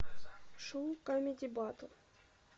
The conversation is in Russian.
шоу камеди батл